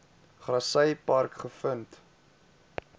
grassy park gevind